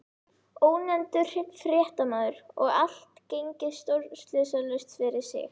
Ónefndur fréttamaður: Og allt gengið stórslysalaust fyrir sig?